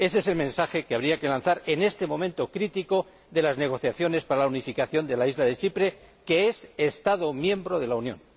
Ese es el mensaje que habría que lanzar en este momento crítico de las negociaciones para la unificación de la isla de Chipre, que es Estado miembro de la Unión.